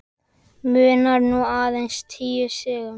Munar nú aðeins níu stigum.